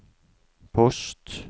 post